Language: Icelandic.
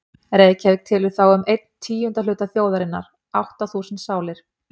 Reykjavík telur þá um einn tíunda hluta þjóðarinnar, átta þúsund sálir.